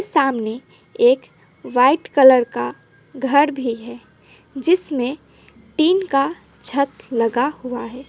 सामने एक white colour का घर भी है जिसमें टीन का छत लगा हुआ है।